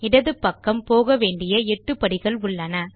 இடது பக்கம் போக வேண்டிய எட்டு படிகள் உள்ளன